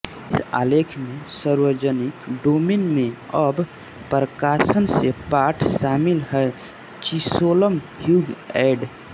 इस आलेख में सार्वजनिक डोमेन में अब प्रकाशन से पाठ शामिल है चिशोलम ह्यूग एड